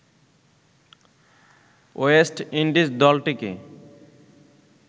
West Indies দলটিকে